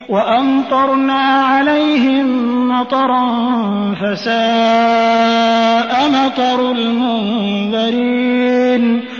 وَأَمْطَرْنَا عَلَيْهِم مَّطَرًا ۖ فَسَاءَ مَطَرُ الْمُنذَرِينَ